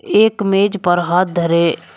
एक मेज पर हाथ धरे--